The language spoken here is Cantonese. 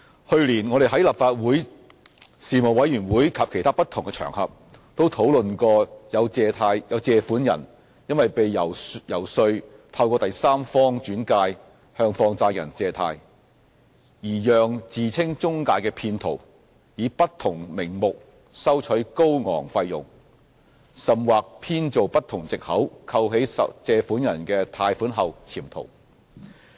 去年，我們在立法會的事務委員會及其他不同場合，都討論過有借款人因為被遊說透過第三方轉介向放債人借貸，而讓自稱中介的騙徒以不同名目收取高昂費用，甚或編造不同藉口扣起借款人的貸款後潛逃。